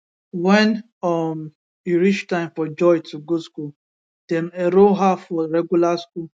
wen um e reach time for joy to go school dem enroll her for regular school